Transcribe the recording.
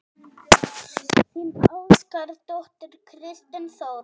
Þín ástkær dóttir, Kristín Þóra.